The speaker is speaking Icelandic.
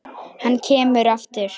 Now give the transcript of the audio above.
Hann kemur aftur.